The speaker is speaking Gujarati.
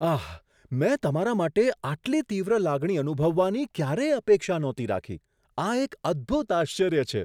આહ! મેં તમારા માટે આટલી તીવ્ર લાગણી અનુભવવાની ક્યારેય અપેક્ષા નહોતી રાખી. આ એક અદ્ભુત આશ્ચર્ય છે.